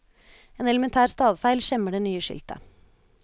En elementær stavefeil skjemmer det nye skiltet.